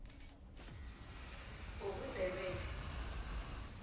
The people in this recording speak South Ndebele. wobundebele